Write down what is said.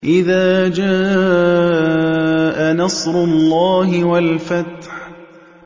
إِذَا جَاءَ نَصْرُ اللَّهِ وَالْفَتْحُ